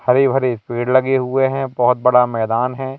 हरे भरे पेड़ लगे हुए हैं बहोत बड़ा मैदान है।